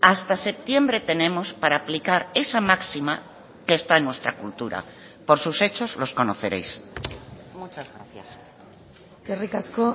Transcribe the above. hasta septiembre tenemos para aplicar esa máxima que está en nuestra cultura por sus hechos los conoceréis muchas gracias eskerrik asko